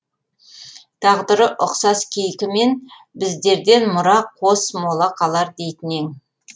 тағдыры ұқсас кейкімен біздерден мұра қос мола қалар дейтін ең